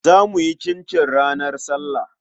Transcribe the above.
Za mu yi cincin ranar sallah.